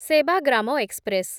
Sevagram express